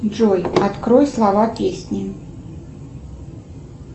джой открой слова песни